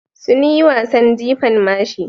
Sun yi wasan jifan mashi.